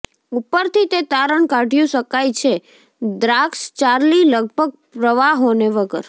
ઉપરથી તે તારણ કાઢ્યું શકાય છે દ્રાક્ષ ચાર્લી લગભગ પ્રવાહોને વગર